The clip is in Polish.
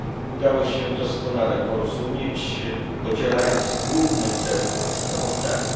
Udało się doskonale porozumieć, podzielając główny cel tego sprawozdania.